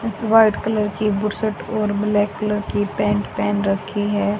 White colour की बू shirt और ब्लैक कलर की पैंट पहन रखी है।